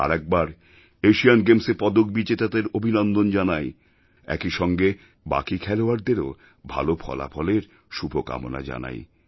আরেকবার এশিয়ান গেমসে পদক বিজেতাদের অভিনন্দন জানাই একইসঙ্গে বাকি খেলোয়াড়দেরও ভালো ফলাফলের শুভকামনা জানাই